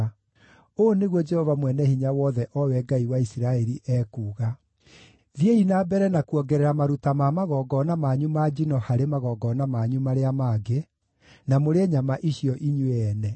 “ ‘Ũũ nĩguo Jehova Mwene-Hinya-Wothe, o we Ngai wa Isiraeli, ekuuga: Thiĩi na mbere na kuongerera maruta ma magongona manyu ma njino harĩ magongona manyu marĩa mangĩ, na mũrĩe nyama icio inyuĩ ene!